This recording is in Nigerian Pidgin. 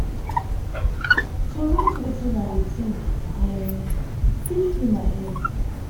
to write wetin i dey think um fit free my head.